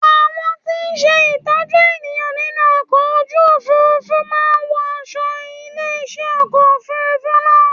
Àwọn tí ń ṣe ìtọ́jú ènìyàn nínú ọkọ̀ ojú Òfurufú máa ń wọ aṣo ilé iṣẹ́ ọkọ̀ Òfurufú náà.